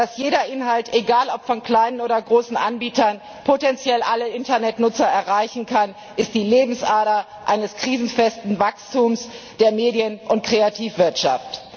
Dass jeder Inhalt egal ob von kleinen oder großen Anbietern potenziell alle Internetnutzer erreichen kann, ist die Lebensader eines krisenfesten Wachstums der Medien und Kreativwirtschaft.